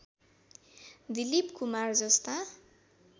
दिलीप कुमार जस्ता